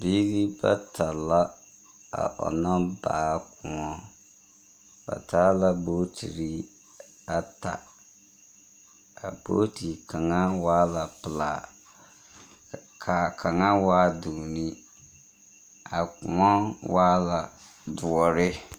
Biiri bata la, a ɔnnɔ baa kõɔ. Ba taa la bootiri ata. A booti kaŋa waa la pelaa, kaa kaŋa waa duuni. A kõɔ waa la doɔre.